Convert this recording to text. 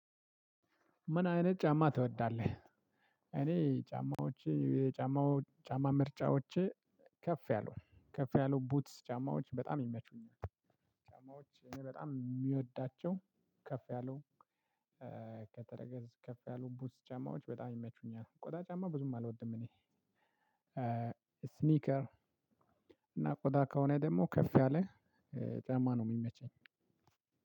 ምን አይነት ጫማ ትወዳለህ? እኔ ጫማዎች የጫማው ጫማ ምርጫዎቼ ከፍ ያሉ ከፍ ያሉ ቡትስ ጫማዎች በጣም ይመቹኛል። ጫማዎች እኔ በጣም የሚወዳቸው ከፍ ያለው ከተረገዝ ከፍ ያለው ቡስ ጫማዎች በጣም ይመቹኛል። ቆዳ ጫማ ብዙም አልወድም እኔ። ስኒከር እና ቆዳ ከሆነ ደግሞ ከፍ ያለ ጫማ ነው የሚመቸኝ።